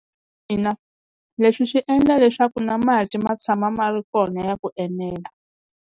Ina leswi swi endla leswaku na mati ma tshama ma ri kona ya ku enela.